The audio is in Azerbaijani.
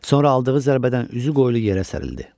Sonra aldığı zərbədən üzü qoylu yerə sərildi.